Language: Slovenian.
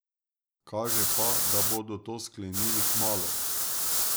Kaže pa, da bodo to sklenili kmalu.